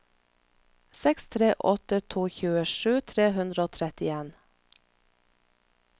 seks tre åtte to tjuesju tre hundre og trettien